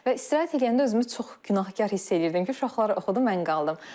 Və istirahət edəndə özümü çox günahkar hiss eləyirdim ki, uşaqları oxudum, mən qaldım.